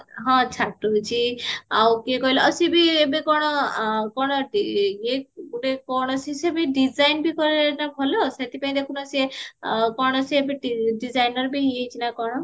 ହଁ ଛାଡିଚି ଆଉ କିଏ କହିଲା ସିଏବି ଏବେ କଣ କଣ ଗୋଟେ କଣ ସିଏବି design କରେ ନା ଭଲ ସେଥିପାଇଁ ଦେଖନା ସିଏ କଣ ସିଏ ଏବେ designerବି ହେଇଯାଇଛି ନା କଣ